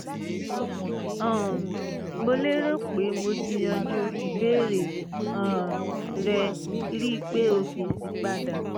um mo lérò pé mo ti yanjú ìbéèrè um rẹ rí i pé o fèsì padà